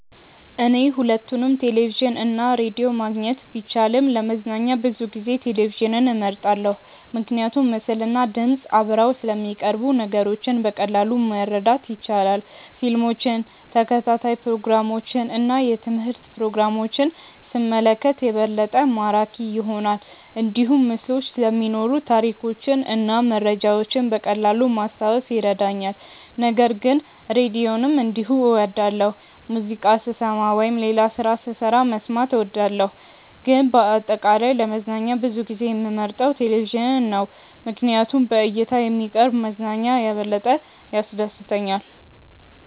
እኔ ሁለቱንም ቴሌቪዥን እና ራዲዮ ማግኘት ቢቻልም ለመዝናኛ ብዙ ጊዜ ቴሌቪዥንን እመርጣለሁ። ምክንያቱም ምስልና ድምፅ አብረው ስለሚቀርቡ ነገሮችን በቀላሉ ማረዳት ይቻላል። ፊልሞችን፣ ተከታታይ ፕሮግራሞችን እና የትምህርት ፕሮግራሞችን ሲመለከት የበለጠ ማራኪ ይሆናል። እንዲሁም ምስሎች ስለሚኖሩ ታሪኮችን እና መረጃዎችን በቀላሉ ማስታወስ ይረዳኛል። ነገር ግን ራዲዮንም እንዲሁ እወዳለሁ፣ ሙዚቃ ስሰማ ወይም ሌላ ስራ ስሰራ መስማት እወዳለሁ። ግን በአጠቃላይ ለመዝናኛ ብዙ ጊዜ የምመርጠው ቴሌቪዥን ነው ምክንያቱም በእይታ የሚቀርብ መዝናኛ የበለጠ ያስደስተኛል።